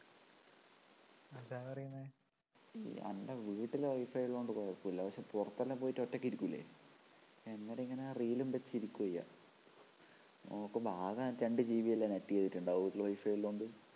എൻ്റെ വീട്ടില് വൈഫൈഉള്ളതുകൊണ്ട് കുഴപ്പമില്ല പക്ഷെ പുറത്തെല്ലാം പോയിട്ട് ഒറ്റയ്ക്ക് ഇരിക്കൂല്ലേഅന്നേരം ഇങ്ങനെറീൽ ഉം വച്ചിരിക്കുകയാ ചെയ്യാ ആകെ രണ്ടു GB അല്ലേ net ചെയ്‌തിട്ടുണ്ടാവൂ വീട്ടില് WIFI ഉള്ളതുകൊണ്ട്